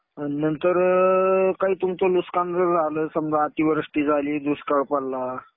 नंतर काही तुमचं नुकसान जर झालं समजा अतिवृष्टी झाली, दुष्काळ पडला.